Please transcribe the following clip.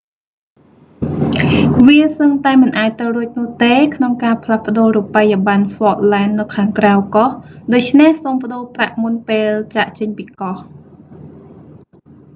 វាសឹងតែមិនអាចទៅរួចនោះទេ ក្នុងការផ្លាស់ប្តូររូបិយប័ណ្ណហ្វកឡែនស៍នៅខាងក្រៅកោះ ដូច្នេះសូមប្តូរប្រាក់មុនពេលចាកចេញពីកោះ